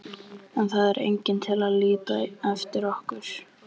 En það er enginn til að líta eftir okkur.